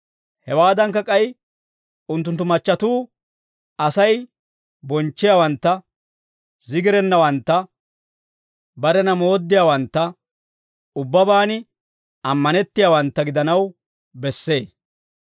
Hewaadankka k'ay unttunttu machchatuu Asay bonchchiyaawantta, zigirennawantta, barena mooddiyaawantta, ubbabaan ammanettiyaawantta gidanaw bessee.